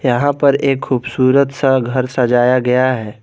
यहां पर एक खूबसूरत सा घर सजाया गया है।